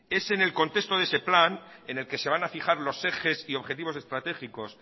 es en el contexto de ese plan en el que se van a fijar los ejes y objetivos estratégicos